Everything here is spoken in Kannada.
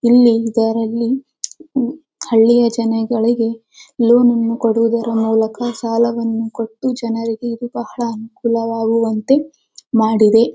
ಇಲ್ಲಿ ಇದರಲ್ಲಿ ಹಳ್ಳಿಯ ಜನಗಳಿಗೆ ಲೋನ್ ಅನ್ನು ಕೊಡುವುದರ ಮೂಲಕ ಸಾಲವನ್ನು ಕೊಟ್ಟು ಜನರಿಗೆ ಇದು ಬಹಳ ಅನುಕೂಲ ಆಗುವಂತೆ ಇದು ಮಾಡಿದೆ .